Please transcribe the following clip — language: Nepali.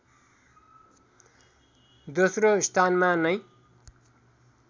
दोस्रो स्थानमा नै